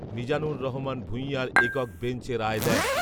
মিজানুর রহমান ভূঁঞার একক বেঞ্চ এ রায় দেন